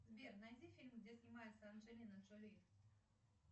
сбер найди фильм где снимается анджелина джоли